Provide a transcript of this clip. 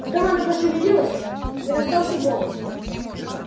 потом она пошевелилась и раздался голос